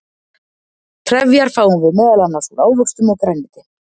trefjar fáum við meðal annars úr ávöxtum og grænmeti